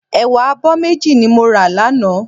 Ẹ̀wà abọ́ méjì ni mo rà lánàá.